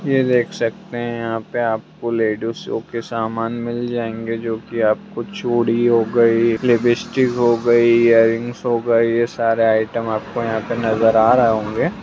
ये देख सकते है यहां पे आपको लेडीसों के समान मिल जाएंगे जो की आपको चूड़ी हो गई लिपस्टिक हो गई इयरिंग्स हो गई ये सारे आइटम आपको यहां नजर आ रहे होंगे।